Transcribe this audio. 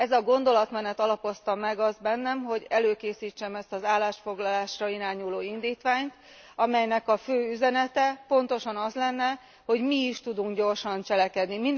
Ez a gondolatmenet alapozta meg azt bennem, hogy előkészítsem ezt az állásfoglalásra irányuló indítványt, amelynek a fő üzenete pontosan az lenne, hogy mi is tudunk gyorsan cselekedni.